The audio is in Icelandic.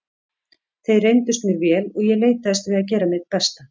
Þeir reyndust mér vel og ég leitaðist við að gera mitt besta.